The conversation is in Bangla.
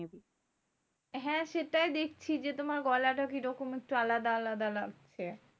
হ্যাঁ সেটাই দেখছি যে, তোমার গলাটা কি রকম আলাদা আলাদা লাগছে?